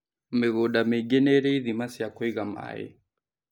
Mĩgũnda mĩingi nĩrĩ ithima cia kũiga maĩ